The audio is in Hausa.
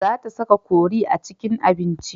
Za ta saka kori a cikin abinci.